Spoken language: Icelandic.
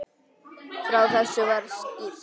Frá þessu var skýrt.